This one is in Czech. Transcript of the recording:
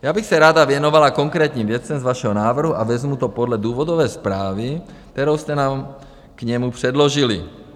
Já bych se ráda věnovala konkrétním věcem z vašeho návrhu a vezmu to podle důvodové zprávy, kterou jste nám k němu předložili.